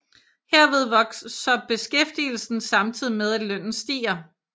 Herved vokser beskæftigelsen samtidig med at lønnen stiger